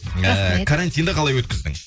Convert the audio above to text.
ыыы карантинді қалай өткіздің